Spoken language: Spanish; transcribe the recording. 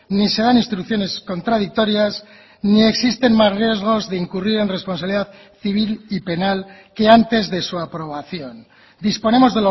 ni se dan instrucciones contradictorias ni existen más riesgos de incurrir en responsabilidad civil y penal que antes de su aprobación disponemos